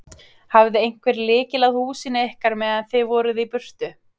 Hafði einhver lykil að húsinu ykkar meðan þið voruð í burtu?